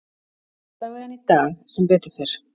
Allavegana í dag, sem betur fer.